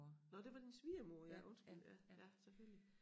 Nåh det var din svigermor ja undskyld ja ja selvfølgelig